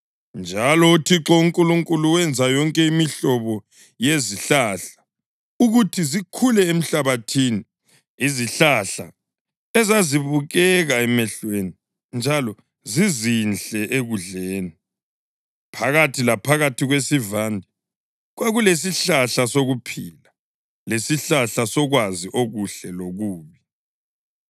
Njalo uThixo uNkulunkulu wenza yonke imihlobo yezihlahla ukuthi zikhule emhlabathini, izihlahla ezazibukeka emehlweni njalo zizinhle ekudleni. Phakathi laphakathi kwesivande kwakulesihlahla sokuphila lesihlahla sokwazi okuhle lokubi.